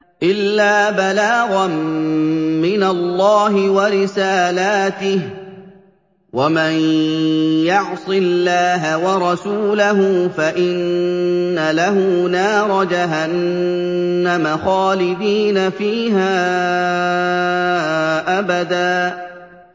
إِلَّا بَلَاغًا مِّنَ اللَّهِ وَرِسَالَاتِهِ ۚ وَمَن يَعْصِ اللَّهَ وَرَسُولَهُ فَإِنَّ لَهُ نَارَ جَهَنَّمَ خَالِدِينَ فِيهَا أَبَدًا